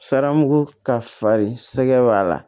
Sarmugu ka farin sɛgɛ b'a la